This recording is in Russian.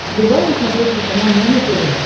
врубай на смотрешке канал нано тв